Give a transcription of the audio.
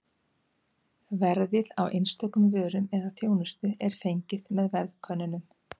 Verðið á einstökum vörum eða þjónustu er fengið með verðkönnunum.